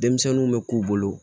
Denmisɛnninw bɛ k'u bolo